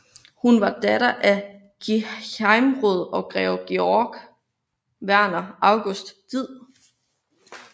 Hun var datter af gehejmeråd og greve Georg Werner August Did